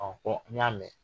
Ɔhɔ n y'a mɛn